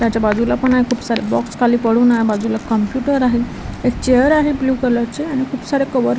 त्याच्या बाजूला पण आहे खूप सारे बॉक्स खाली पडून आहे बाजूला कम्प्युटर आहे एक चेअर आहे ब्लू कलर चे आणि खूप सारे कवर --